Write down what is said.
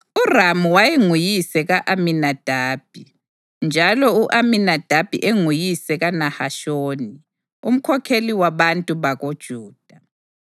URamu wayenguyise ka-Aminadabi, njalo u-Aminadabi enguyise kaNahashoni, umkhokheli wabantu bakoJuda.